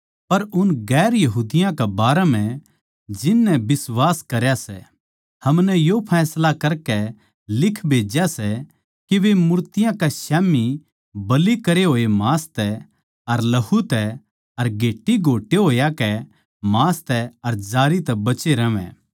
पर उन दुसरी जात्तां कै बारै म्ह जिन नै बिश्वास करया सै हमनै यो फैसला करकै लिख भेज्या सै के वे मूर्तियाँ कै स्याम्ही बलि करे हाड़ मांस तै अर लहू तै अर घेट्टी घोट्टे होयां के मांस तै अर जारी तै बचे रहवैं